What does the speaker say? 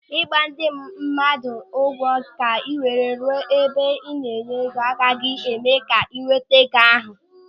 Ịgba ndị mmadụ ụkwụ ka ị were ruo n'ebe a na-enye ego agaghị eme ka ị nweta ego ahụ.